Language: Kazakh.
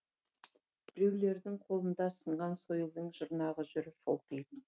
біреулердің қолында сынған сойылдың жұрнағы жүр шолтиып